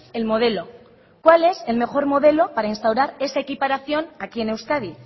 el modelo cuál es el mejor modelo para instaurar esa equiparación aquí en euskadi